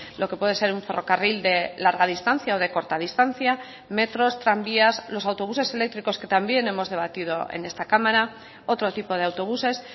lo que puede ser un ferrocarril de larga distancia o de corta distancia metros tranvías los autobuses eléctricos que también hemos debatido en esta cámara otro tipo de autobuses